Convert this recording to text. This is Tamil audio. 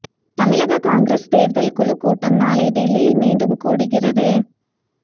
தமிழக காங்கிரஸ் தேர்தல் குழு கூட்டம் நாளை டெல்லியில் மீண்டும் கூடுகிறது